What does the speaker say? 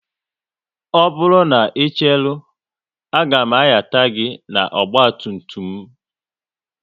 Ọ bụrụ na ị cheru, a ga m anyata gị n'ọgba tum tum m